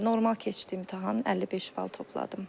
Normal keçdi imtahan, 55 bal topladım.